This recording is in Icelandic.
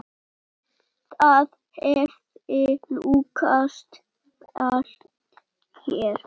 Það hefði lukkast vel hér.